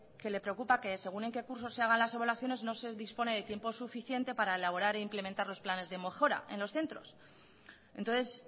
que le preocupa que según en qué cursos se hagan las evaluaciones no se dispone de tiempo suficiente para elaborar e implementar los planes de mejora en los centros entonces